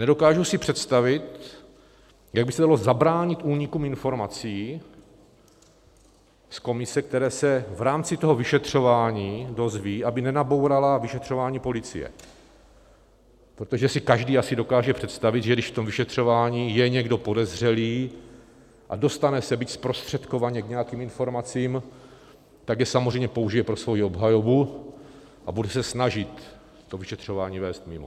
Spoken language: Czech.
Nedokážu si představit, jak by se dalo zabránit únikům informací z komise, které se v rámci toho vyšetřování dozví, aby nenabourala vyšetřování policie, protože si každý asi dokáže představit, že když v tom vyšetřování je někdo podezřelý a dostane se, byť zprostředkovaně, k nějakým informacím, tak je samozřejmě použije pro svoji obhajobu a bude se snažit to vyšetřování vést mimo.